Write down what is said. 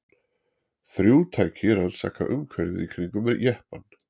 Þrjú tæki rannsaka umhverfið í kringum jeppann.